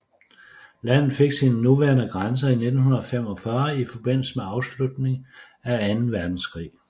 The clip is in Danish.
Landet fik sine nuværende grænser i 1945 i forbindelse med afslutningen af anden verdenskrig